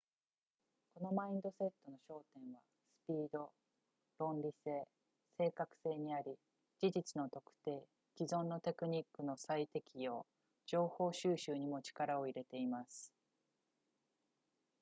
このマインドセットの焦点はスピード論理性正確性にあり事実の特定既存のテクニックの再適用情報収集にも力を入れています